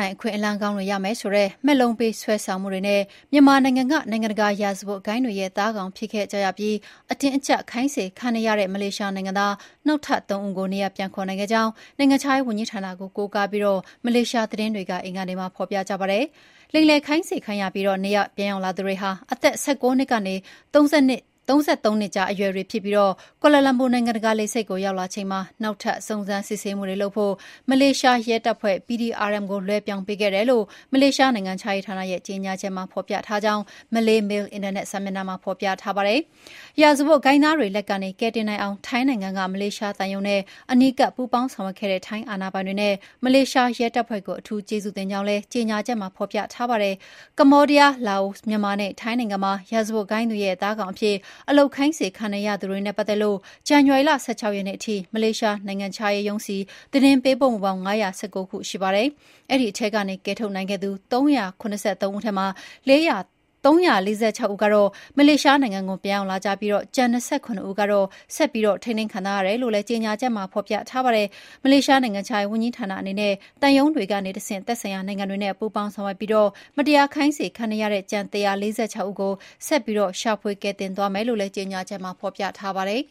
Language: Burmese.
င်အခွင့်အလမ်းကောင်းတွေရမယ်ဆိုတဲ့ မက်လုံးပေးဆွဲဆောင်မှုတွေနဲ့ မြန်မာနိုင်ငံက နိုင်ငံတကာရာဇဝတ်ဂိုဏ်းတွေရဲ့ သားကောင်ဖြစ်ခဲ့ကြရပြီး အတင်းအကျပ်ခိုင်းစေခံနေရတဲ့ မလေးရှားနိုင်ငံသား နောက်ထပ် ၃ ဦးကို နေရပ် ပြန်ခေါ်နိုင်ခဲ့ကြောင်း နိုင်ငံခြားရေးဝန်ကြီးဌာနကို ကိုးကားပြီး မလေးရှားသတင်းတွေက အင်္ဂါနေ့မှာ ဖော်ပြကြပါတယ်။ လိမ်လည်ခိုင်းစေခံရပြီး နေရပ်ပြန်ရောက်လာသူတွေဟာ အသက် ၁၉ နှစ်ကနေ ၃၃ နှစ်ကြားအရွယ်တွေဖြစ်ပြီး ကွာလာလမ်ပူ နိုင်ငံတကာလေဆိပ်ကို ရောက်ရှိလာချိန်မှာ နောက်ထပ်စုံစမ်းစစ်ဆေးမှုတွေလုပ်ဖို့ မလေးရှားရဲတပ်ဖွဲ့ PDRM ကို လွှဲပြောင်းပေးခဲ့တယ်လို့ မလေးရှား နိုင်ငံခြားရေးဌာနရဲ့ကြေညာချက်မှာ ဖော်ပြထားကြောင်း Malaymail အင်တာနက် စာမျက်နှာမှာဖော်ပြထားပါတယ်။ ရာဇဝတ်ဂိုဏ်းသားတွေလက်ကနေ ကယ်တင်နိုင်အောင် ထိုင်းနိုင်ငံက မလေးရှားသံရုံးနဲ့ အနီးကပ်ပူးပေါင်းဆောင်ရွက်ခဲ့တဲ့ ထိုင်းအာဏာပိုင်တွေနဲ့ မလေးရှားရဲတပ်ဖွဲ့ကို အထူးကျေးဇူးတင်ကြောင်းလည်း ကြေညာချက်မှာဖော်ပြထားပါတယ်။ ကမ္ဘောဒီးယား၊ လာအို၊ မြန်မာနဲ့ ထိုင်းနိုင်ငံမှာ ရာဇဝတ်ဂိုဏ်းတွေရဲ့ သားကောင် အဖြစ် အလုပ်ခိုင်းစေခံနေရသူတွေနဲ့ပတ်သက်လို့ ဇန်နဝါရီလ ၁၆ ရက်နေ့ထိ မလေးရှားနိုင်ငံခြားရေးရုံးဆီ သတင်းပေးပို့မှုပေါင်း ၅၁၉ ခုရှိပါတယ်။ အဲဒီထဲကနေ ကယ်ထုတ်နိုင်ခဲ့သူ ၃၇၃ ဦးထဲမှာ ၃၄၆ ဦးကတော့ မလေးရှားနိုင်ငံကို ပြန်ရောက် လာပြီး ကျန် ၂၇ ဦးကတော့ ဆက်ပြီးထိန်းသိမ်းခံထားရတယ်လို့လည်း ကြေညာချက်မှာ ဖော်ပြထားပါတယ်။ မလေးရှားနိုင်ငံခြားရေးဝန်ကြီးဌာနအနေနဲ့ သံရုံးတွေကတဆင့် သက်ဆိုင်ရာနိုင်ငံတွေနဲ့ပူးပေါင်းဆောင်ရွက်ပြီး မတရားခိုင်းစေခံနေရတဲ့ ကျန် ၁၄၆ ဦးကို ဆက်ပြီးရှာဖွေကယ်တင်သွားမယ်လို့လည်း ကြေညာချက်မှာ ပြောထားပါတယ်